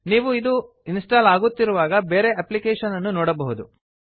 ನೀವು ಇದು ಇನ್ಸ್ಟಾಲ್ ಆಗುತ್ತಿರುವಾಗ ಬೇರೆ ಅಪ್ಲಿಕೇಶನ್ ಅನ್ನು ನೋಡಬಹುದು